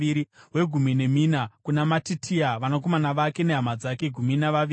wegumi nemina kuna Matitia, vanakomana vake nehama dzake—gumi navaviri;